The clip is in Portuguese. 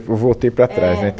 vou voltei para trás, né, É